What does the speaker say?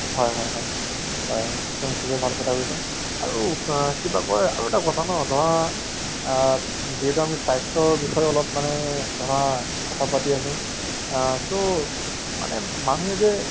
হয় হয়, হয় সেইটো শুবেই ভাল কথা কৈছা আৰু আ কিবা কই আৰু এটা কথা ন ধৰা আ যিহেতু আমি স্বাস্থ্যৰ বিষয়ে অলপ মানে ধৰা কথা পাতি আছো আ so মানে মানুহে যে